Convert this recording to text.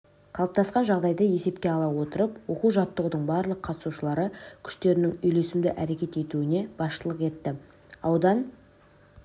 қалыптасқан жағдайды есепке ала отырып оқу-жаттығудың барлық қатысушылары күштерінің үйлесімді әрекет етуіне басшылық етті аудан